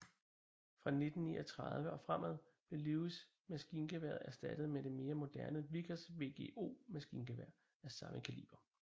Fra 1939 og fremad blev Lewis maskingeværet erstattet med det mere moderne Vickers VGO maskingevær af samme kaliber